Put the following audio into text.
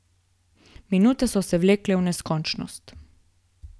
Minute so se vlekle v neskončnost.